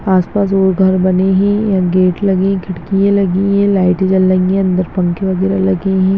आस-पास और घर बने है गेट लगी खिड़कियां लगी है लाइट जल रही है अंदर पंखे वगैरा लगे है।